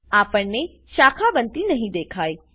આપણને શાખા બનતી નહી દેખાય